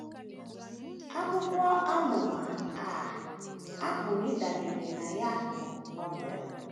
Akwụkwọ amụma a a pụrụ ịdabere na ya bụ Novel.